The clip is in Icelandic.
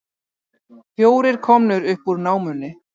Fjórir komnir upp úr námunni